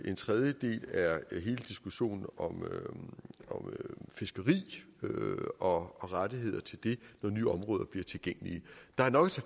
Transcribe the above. en tredje del er hele diskussionen om fiskeri og rettigheder til det når nye områder bliver tilgængelige der er nok